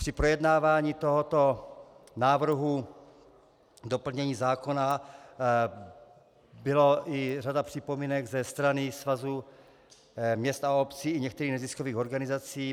Při projednávání tohoto návrhu doplnění zákona byla i řada připomínek ze strany Svazu měst a obcí i některých neziskových organizací.